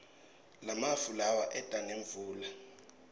lamafu lawa eta nemvula